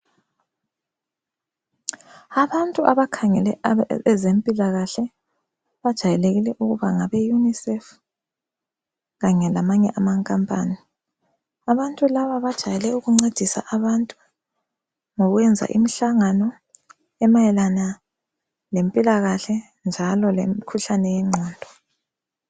Abantu abakhangele ezempilakahle bajayelekile ukuba ngabe UNICEF kanye lamanye amankampani , abantu laba bajayele ukuncedisa abantu ngokwenza imihlangano emayelana lempilakahle njalo lemikhuhlane yengqondo